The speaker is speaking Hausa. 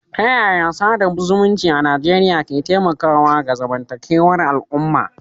Ta yaya sada zumunci a Najeriya ke taimakawa ga zamantakewar al'umma?